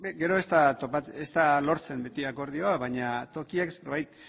gero ez da lortzen beti akordioa baina tokiak zerbait